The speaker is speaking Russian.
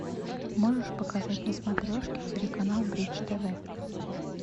можешь показать на смотрешке телеканал бридж тв